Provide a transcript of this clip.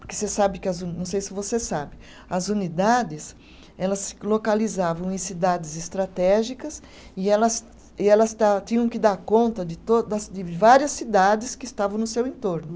Porque você sabe que as uni, não sei se você sabe, as unidades, elas se localizavam em cidades estratégicas e elas, e elas ta, tinham que dar conta de to, das de várias cidades que estavam no seu entorno.